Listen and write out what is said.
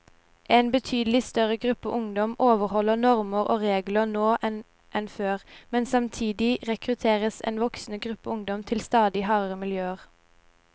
En betydelig større gruppe ungdom overholder normer og regler nå enn før, men samtidig rekrutteres en voksende gruppe ungdom til stadig hardere miljøer.